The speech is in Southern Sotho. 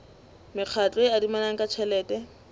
mekgatlo e adimanang ka tjhelete